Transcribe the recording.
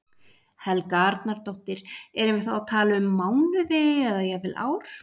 Helga Arnardóttir: Erum við þá að tala um mánuði eða jafnvel ár?